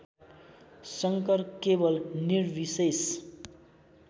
शङ्कर केवल निर्विशेष